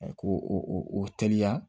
Ko o teliya